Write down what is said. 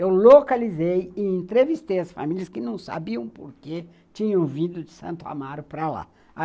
Eu localizei e entrevistei as famílias que não sabiam porque tinham vindo de Santo Amaro para lá.